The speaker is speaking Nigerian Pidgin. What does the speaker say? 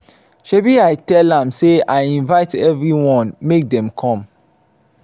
shebi i tell am say i invite everyone make dem come